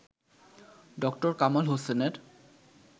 ড. কামাল হোসেনের